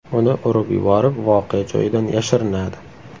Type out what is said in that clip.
Uni urib yuborib, voqea joyidan yashirinadi.